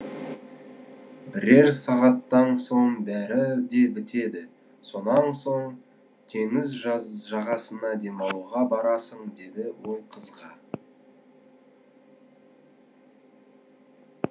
бірер сағаттан соң бәрі де бітеді сонан соң теңіз жағасына демалуға барасың деді ол қызға